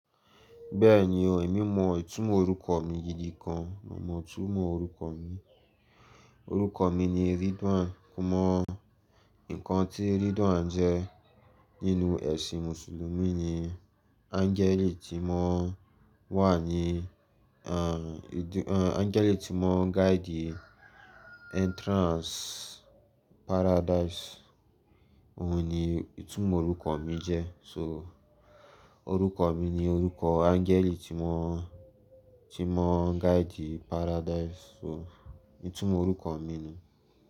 Bẹ́ẹ̀ni o, èmi mọ ìtumọ̀ orúkọ mi gídi kan, mo mọ ìtumọ̀ orúkọ mi. Òrúkọ mi ni Ridwan. Mọ mọ̀, nǹkan tí Ridwan jẹ́ nínú ẹ̀sìn mùsùlùmí ni angẹ́lì tí wọ́n wà ní, angẹ́lì tí wọ́n guide entrance paradise. Òun ni ìtumọ̀ orúkọ mi jẹ́. So orúkọ mi ni orúkọ angẹ́lì tí wọ́n, tí wọ́n guide paradise so ìtumọ̀ orúkọ mi ni.